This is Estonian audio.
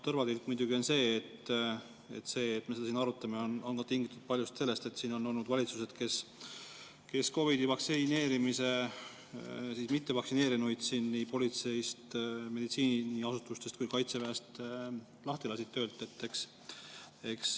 Tõrvatilk muidugi on see, et me seda siin arutame tingitult sellest, et on olnud valitsused, kes COVID‑i vastu vaktsineerimata nii politseist, meditsiiniasutustest kui ka Kaitseväest lahti lasid.